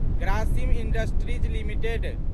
Grasim Industries limited